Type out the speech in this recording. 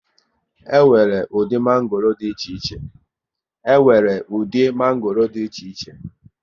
E nwere ụdị mango dị iche iche